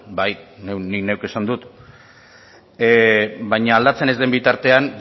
bai ni neuk esan dut baina aldatzen ez den bitartean